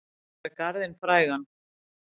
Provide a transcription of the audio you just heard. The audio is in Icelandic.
Að gera garðinn frægan